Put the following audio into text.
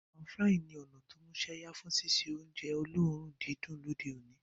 Pan-frying ní o músẹ́yá fun síse ounje olóòrun didùn lóde oní